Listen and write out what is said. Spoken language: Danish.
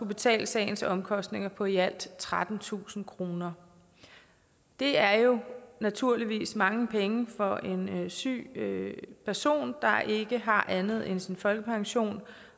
betale sagens omkostninger på i alt trettentusind kroner det er jo naturligvis mange penge for en syg person der ikke har andet end sin folkepension